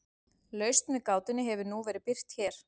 lausn við gátunni hefur nú verið birt hér